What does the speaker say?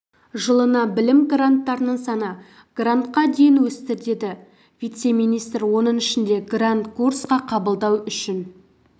жылына білім гранттарының саны грантқа дейін өсті деді вице-министр оның ішінде грант курсқа қабылдау үшін